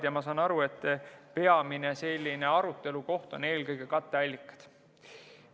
Ja ma saan aru, et peamine arutelukoht on eelkõige katteallikad.